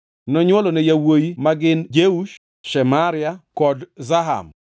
Nonywolone yawuowi magin Jeush, Shemaria kod Zaham.